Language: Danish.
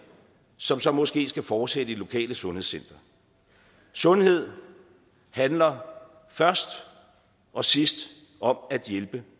som så måske skal fortsætte i det lokale sundhedscenter sundhed handler først og sidst om at hjælpe